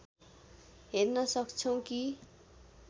हेर्न सक्छौँ कि